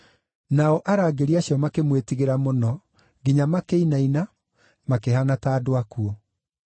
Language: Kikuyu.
Nao arangĩri acio makĩmwĩtigĩra mũno nginya makĩinaina makĩhaana, ta andũ akuũ.